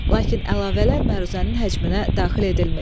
Lakin əlavələr məruzənin həcminə daxil edilmir.